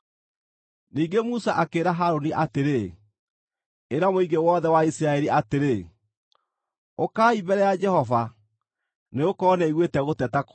Ningĩ Musa akĩĩra Harũni atĩrĩ, “Ĩra mũingĩ wothe wa Isiraeli atĩrĩ, ‘Ũkai mbere ya Jehova, nĩgũkorwo nĩaiguĩte gũteta kwanyu.’ ”